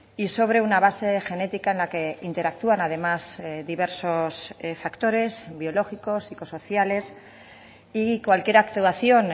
y sobre una base genética en la que interactúan además diversos factores biológicos psicosociales y cualquier actuación